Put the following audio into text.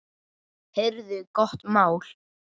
Heyrðu, gott mál.